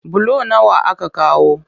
Bulo nawa aka kawo?